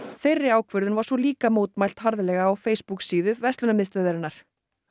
þeirri ákvörðun var svo líka mótmælt harðlega á Facebook síðu verslunarmiðstöðvarinnar